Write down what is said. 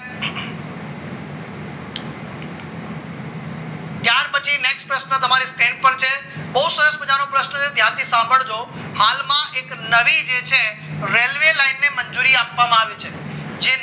next question તમારી પાસે બહુ સરસ મજાનો પ્રશ્ન છે ત્યાંથી સાંભળજો હાલમાં એક નવી જે છે રેલ્વે લાઈનને મંજૂરી આપવામાં આવી છે જે